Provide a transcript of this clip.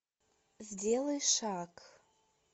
сделай шаг